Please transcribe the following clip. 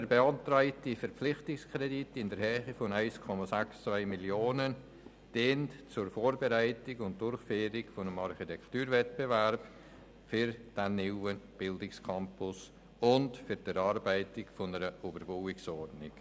Der beantragte Verpflichtungskredit in der Höhe von 1,62 Mio. Franken dient der Vorbereitung und Durchführung eines Architekturwettbewerbs für den neuen Bildungscampus und für die Erarbeitung einer Überbauungsordnung.